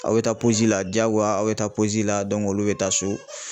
Aw bi taa la diyagoya aw bi taa la olu bi taa so